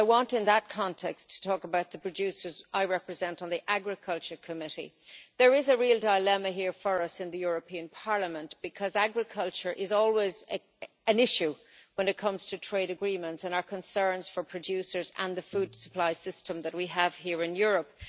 In that context, I want to talk about the producers I represent on the Committee on Agriculture and Rural Development. There is a real dilemma here for us in the European Parliament, because agriculture is always an issue when it comes to trade agreements and our concerns for producers and the food supply system that we have here in Europe.